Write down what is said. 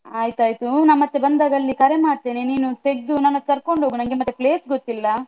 ಆಯ್ತಾಯ್ತು ನಾನ್ ಮತ್ತೆ ಬಂದಾಗ ಅಲ್ಲಿ ಕರೆ ಮಾಡ್ತೇನೆ, ನೀನು ತೆಗ್ದು ನನ್ನನ್ನು ಕರ್ಕೊಂಡು ಹೋಗು, ನಂಗೆ ಮತ್ತೆ place ಗೊತ್ತಿಲ್ಲ.